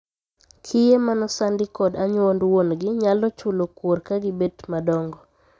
Kiye ma nosandi kod anyuond wongi nyalo chulo kuor ka gibet madongo.